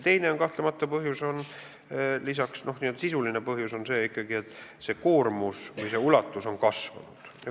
Teine põhjus, n-ö sisuline põhjus on kahtlemata see, et koormus on kasvanud.